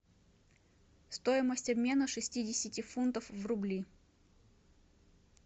стоимость обмена шестидесяти фунтов в рубли